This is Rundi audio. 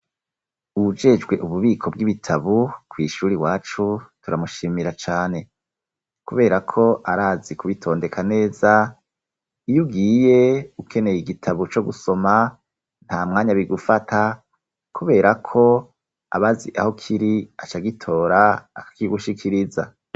Uwujejwe ububiko bw'ibitabo kw'ishuri iwacu turamushimira cane, kubera ko arazi kubitondeka neza iyugiye ukeneye igitabo co gusoma nta mwanya bigufata kubera ko abazi aho kiri acagitora akigushikiriza.